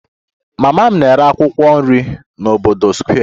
Mama m na-ere akwụkwọ nri n'obodo Square